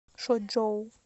шочжоу